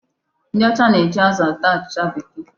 Ndị ọcha na-eji azụ ata achịcha Bekee.